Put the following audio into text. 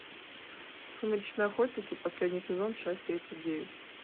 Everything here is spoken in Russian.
сумеречные охотники последний сезон часть тридцать девять